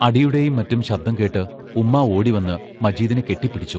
അടിയുടെയും മറ്റും ശബ്ദം കേട്ട് ഉമ്മാ ഓടി വന്ന് മജീദിനെ കെട്ടിപ്പിടിച്ചു.